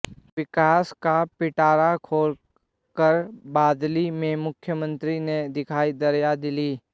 विकास का पिटारा खोल कर बादली में मुख्यमंत्री ने दिखायी दरियादिली